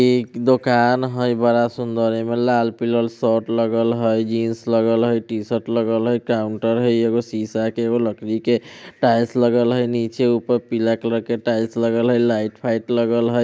एक दुकान हैय बड़ा सुन्दर है एमे लाल पीयर शर्ट लगल हैय जीन्स लगल हैय टी-शर्ट लगल हैय काउंटर है एगो शीशा एगो लकड़ी के टाइल्स लगल हैय नीचे ऊपर पीला कलर के टाइल्स लगल है लाइट फाइट लगल है।